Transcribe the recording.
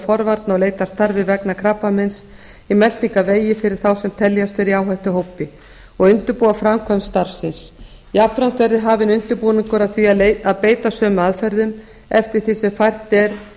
forvarna og leitarstarfi vegna krabbameins í meltingarvegi fyrir þá sem teljast vera í áhættuhópi og undirbúa framkvæmd starfsins jafnframt verði hafin undirbúningur að því að beita sömu aðferðum eftir því sem fært er